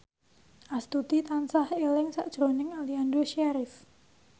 Astuti tansah eling sakjroning Aliando Syarif